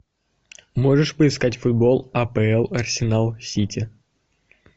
можешь поискать футбол апл арсенал сити